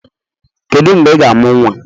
Kedu mgbe ị ga-amụ nwa?